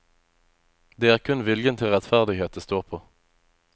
Det er kun viljen til rettferdighet det står på.